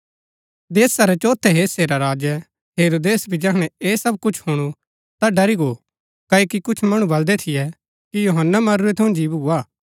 देशा रै चोथै हिस्से रा राजै हेरोदेस भी जैहणै ऐह सब कुछ हुणु ता ड़री गो क्ओकि कुछ मणु बलदै थियै कि यूहन्‍ना मरूरै थऊँ जी भुआ